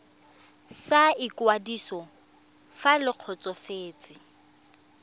sa ikwadiso fa le kgotsofetse